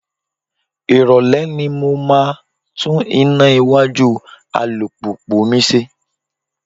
Irole ni mo máa tún iná iwájú alùpùpù mi ṣe.